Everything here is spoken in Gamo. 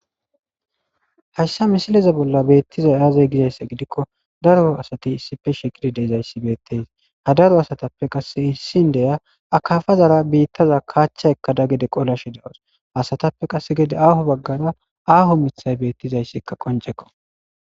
hayssa misileza bolla beettizay aazee gizayssa gidikko daro asati issife shegidi de7izayssi beettes ha daro asatappe qasse issi indiya akafazara biittaza kaachcha ekkada gede qolashe de7awus asatappe qasse gede haho baggara aaho mithay beettizayssikka qoncekko